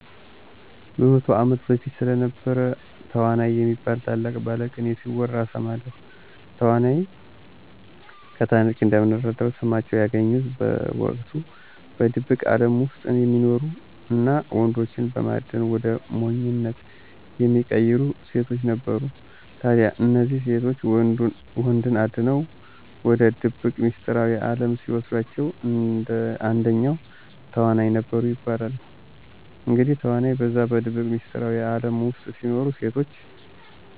በ100 ዓመት በፊት ስለነበሩ ተዋናይ የሚባሉ ታላቅ ባለቅኔ ሲወራ እሰማለሁ። ተዋናይ ከታሪክ እንደምንረዳው ስማቸውን ያገኙት በወቅቱ በድብቅ አለም ውስጥ የሚኖሩ እና ወንዶችን በማደን ወደ ሞኝነት የሚቀይሩ ሴቶች ነበሩ። ታዲያ እነዚህ ሴቶች ወንዶችን አድነው ወደ ድብቅ ሚስጥራዊ አለም ሲወስዷቸዉ አንደኛው ተዋናይ ነበሩ ይባላል። እንግዲህ ተዋናይ በዛ በድብቅ ሚስጥራዊ አለም ውስጥ ሲኖሩ ሴቶች